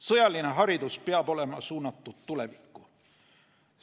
Sõjaline haridus peab olema suunatud tulevikku.